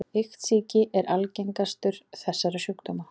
Iktsýki er algengastur þessara sjúkdóma.